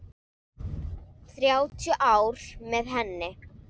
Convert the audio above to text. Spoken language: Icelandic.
Þrjátíu ár með henni.